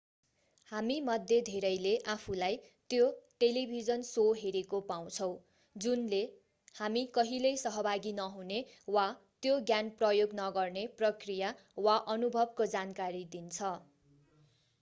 हामीमध्ये धेरैले आफूलाई त्यो टेलिभिजन शो हेरेको पाउँछौँ जुनले हामी कहिल्यै सहभागी नहुने वा त्यो ज्ञान प्रयोग नगर्ने प्रक्रिया वा अनुभवको जानकारी दिन्छ